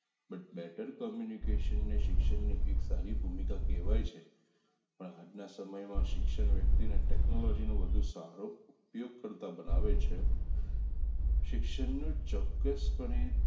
but better communication શિક્ષણની એક સારી ભૂમિકા કહેવાય છે પણ આજના સમયમાં શિક્ષણ વ્યક્તિને ટેકનોલોજીનો વધુ સારો ઉપયોગ કરતા બનાવે છે શિક્ષણના ચોક્કસપણે